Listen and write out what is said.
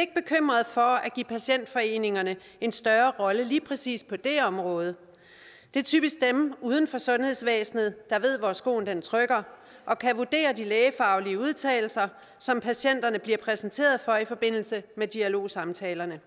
ikke bekymret for at give patientforeningerne en større rolle på lige præcis det område det er typisk dem uden for sundhedsvæsenet der ved hvor skoen trykker og kan vurdere de lægefaglige udtalelser som patienterne bliver præsenteret for i forbindelse med dialogsamtalerne